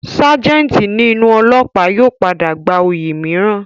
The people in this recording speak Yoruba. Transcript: Ságẹ̀ǹtì ní inú ólọ́ọ̀pá yóò padà gba oyè mìíràn